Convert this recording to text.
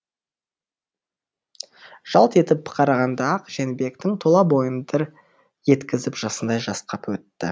жалт етіп бір қарағанда ақ жәнібектің тұла бойын дір еткізіп жасындай жасқап өтті